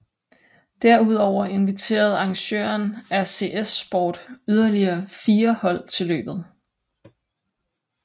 Derudover inviterede arrangøren RCS Sport yderlige fire hold til løbet